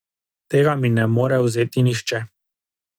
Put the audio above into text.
Tega mi ne more vzeti nihče.